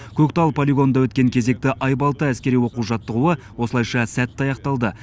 көктал полигонында өткен кезекті айбалта әскери оқу жаттығуы осылайша сәтті аяқталды